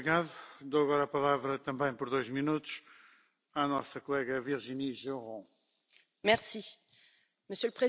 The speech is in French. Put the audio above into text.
Monsieur le Président, Monsieur le Commissaire, chers collègues, Antoine de Saint Exupéry disait les yeux sont aveugles, il faut chercher avec le cœur.